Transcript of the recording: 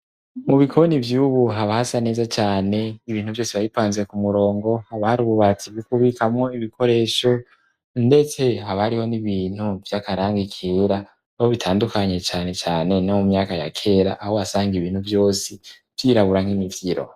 Mu bikoni vy'ubu habasa neza cane ibintu vyose bayipanze ku murongo abari ububati bikubikamo ibikoresho ndetse habariho n'ibintu vy'akaranga ikera abo bitandukanye cane cane no mu myaka ya kera aho asanga ibintu vyose vyirabura nk'imivyiro.